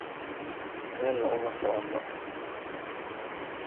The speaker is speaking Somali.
Meelna uma soconno.